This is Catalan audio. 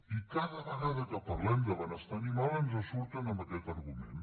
i cada vegada que parlem de benestar animal ens surten amb aquest argument